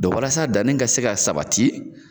Dɔn walasa danni ka se ka sabati.